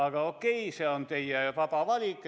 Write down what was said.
Aga okei, see on teie vaba valik.